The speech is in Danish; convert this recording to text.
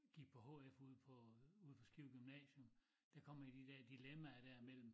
Gik på hf ude på ude på Skive gymnasium der kom jeg i de dér dilemmaer mellem